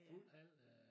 Fuld hal øh